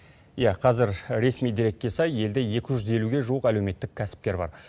иә қазір ресми дерекке сай елде екі жүз елуге жуық әлеуметтік кәсіпкер бар